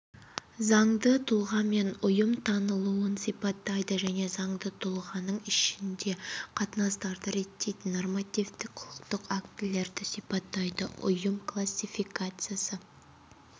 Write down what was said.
заңды тұлғамен ұйым танылуын сипаттайды және заңды тұлғаның ішінде қатынастарды реттейтін нормативтік құқықтық актілерді сипаттайды ұйым классификациясы